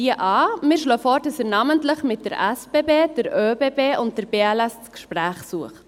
Wir schlagen vor, dass er namentlich mit den SBB, den ÖBB und der BLS das Gespräch sucht.